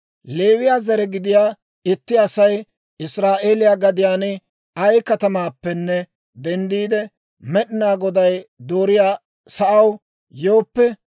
«Leewiyaa zare gidiyaa itti Asay Israa'eeliyaa gadiyaan ay katamaappenne denddiide, Med'inaa Goday dooriyaa sa'aw yooppe,